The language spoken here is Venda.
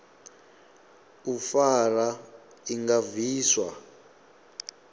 u fara i nga bviswa